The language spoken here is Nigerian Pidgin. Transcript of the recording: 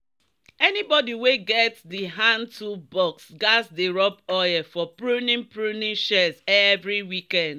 "anybody wey get di hand-tool box gats dey rub oil for pruning pruning shears every weekend."